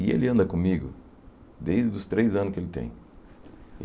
E ele anda comigo desde os três anos que ele tem.